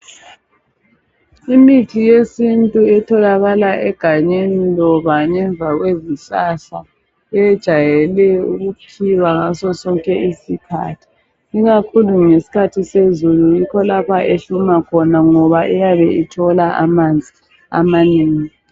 Imithi yesintu etholakala egangeni loba ngemva kwezihlahla yejayele ukukhiwa ngaso sonke isikhathi ikakhulu ngesikhathi sezulu yikho lapha ehluma khona ngoba iyabe ithola amanzi amanengi